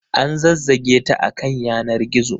An zazzage ta a kan yanar gizo.